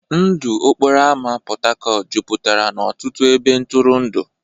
Ndụ okporo ámá Port Harcourt jupụtara n'ọtụtụ ebe ntụrụndụ.